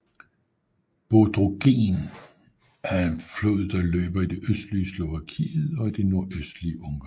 Bodrogen er en flod der løber i det østlige Slovakiet og det nordøstlige Ungarn